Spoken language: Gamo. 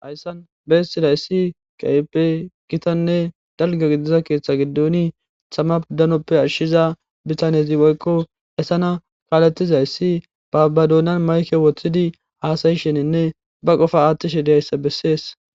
Hayssan beessidayssi qaype gitanne dalga gidiza keeththa giduoni thamapdanoppe ashshiza bitanezi woykko hesana kaaletizayssi baabadoonan mayke woththidi haasayisheninne ba qofa aattishe diyayssa bessees.